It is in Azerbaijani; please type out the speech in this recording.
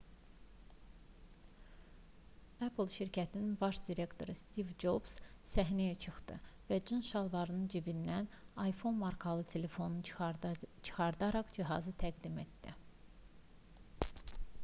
apple şirkətinin baş direktoru stiv cobs səhnəyə çıxdı və cins şalvarının cibindən iphone markalı telefonunu çıxararaq cihazı təqdim etdi